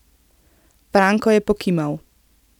Franko je pokimal.